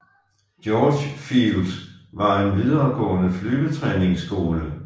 George Field var en videregående flyvetræningsskole